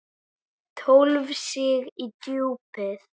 Tólf stig í djúpið.